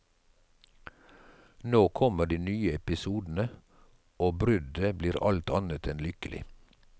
Nå kommer de nye episodene, og bruddet blir alt annet enn lykkelig.